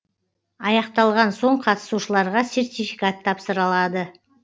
аяқталған соң қатысушыларға сертификат тапсырылады